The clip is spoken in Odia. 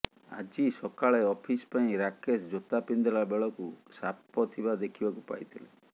ଆଜି ସକାଳେ ଅଫିସ ପାଇଁ ରାକେଶ ଜୋତା ପିନ୍ଧିଲା ବେଳକୁ ସାପ ଥିବା ଦେଖିବାକୁ ପାଇଥିଲେ